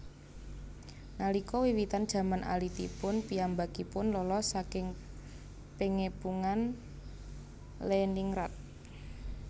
Nalika wiwitan jaman alitipun piyambakipun lolos saking Pengepungan Leningrad